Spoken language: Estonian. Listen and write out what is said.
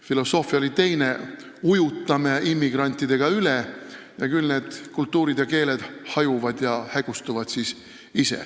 Filosoofia oli teine: ujutame immigrantidega üle ning küll need kultuurid ja keeled hajuvad ja hägustuvad ise.